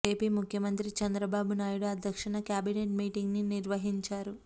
AP ముఖ్యమంత్రి చంద్రబాబు నాయుడు అధ్యక్షతన cabinet meeting ని నిర్వహించారు